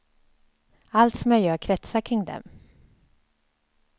Allt som jag gör kretsar kring dem.